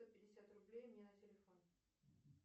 сто пятьдесят рублей мне на телефон